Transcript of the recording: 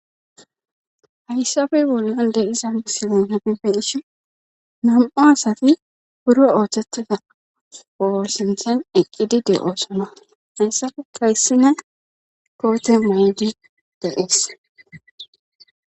hayssafey bollon de'izan misilen hepife hishi nam7o asati buro ooththettida oosinthan eqqidi de7oosona hayssafe kayssine koote may7di deees